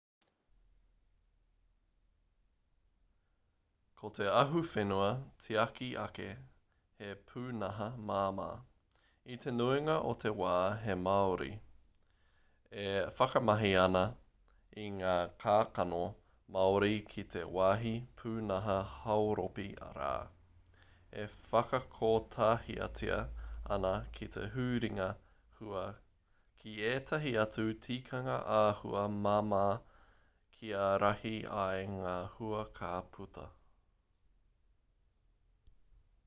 ko te ahuwhenua-tiaki-ake he pūnaha māmā i te nuinga o te wā he māori e whakamahi ana i ngā kākano māori ki te wāhi pūnaha hauropi rā e whakakotahitia ana ki te huringa hua ki ētahi atu tikanga āhua māmā kia rahi ai ngā hua ka puta